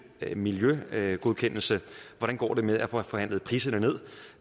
miljøgodkendelse hvordan går det med at få forhandlet priserne ned